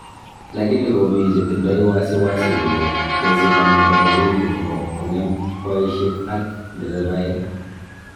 Lakini komi chetindo wasiwasi kole keziman nebo mawimbi nebo konge'em baishek ak nderevae.